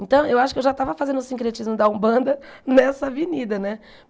Então, eu acho que eu já estava fazendo o sincretismo da Umbanda nessa avenida, né?